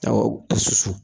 bɛɛ susu.